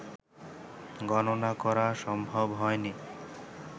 গণনা করা সম্ভব হয়নি